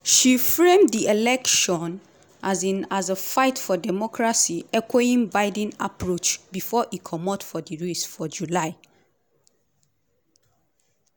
she frame di election um as a fight for democracy echoing biden approach bifor e comot for di race for july.